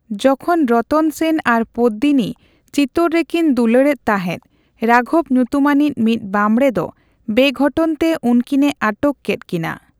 ᱡᱚᱷᱚᱱ ᱨᱚᱛᱚᱱ ᱥᱮᱱ ᱟᱨ ᱯᱚᱫᱫᱤᱱᱤ ᱪᱤᱛᱳᱨ ᱨᱮᱠᱤᱱ ᱫᱩᱞᱟᱹᱲ ᱮᱫ ᱛᱟᱦᱮᱸᱫ, ᱨᱟᱜᱷᱚᱵ ᱧᱩᱛᱩᱢᱟᱱᱤᱡ ᱢᱤᱫ ᱵᱟᱵᱽᱬᱮ ᱫᱚ ᱵᱮᱼᱜᱷᱚᱴᱚᱱ ᱛᱮ ᱩᱱᱠᱤᱱᱮ ᱟᱴᱚᱠ ᱠᱮᱫ ᱠᱤᱱᱟ ᱾